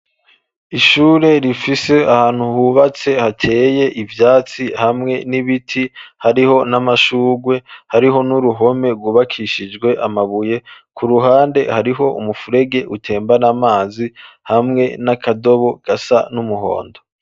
Ishure rifise ahantu hubatse hateye ivyatsi hamwe n'ibiti hariho n'amashurwe hariho n'uruhome rubakishijwe amabuye ku ruhande hariho umufurege utembara amazi hamwe n'akadobo gasa n'umuhondo.